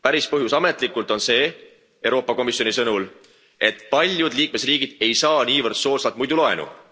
Päris põhjus ametlikult on Euroopa Komisjoni sõnul see, et paljud liikmesriigid ei saa niivõrd soodsalt muidu laenu.